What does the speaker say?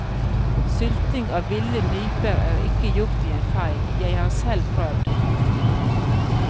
Sylting av ville nyper er ikke gjort i en fei, jeg har selv prøvd.